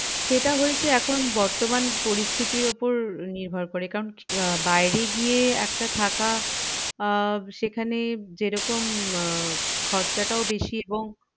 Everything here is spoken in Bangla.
সেইটা হয়েছে এখন বর্তমান পরিস্থিতির উপর নির্ভর করে কারণ আহ বাইরে গিয়ে একটা থাকা আহ সেখানে জেরকম আহ খরচটাও বেশি এবং